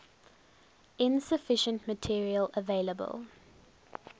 insufficient material available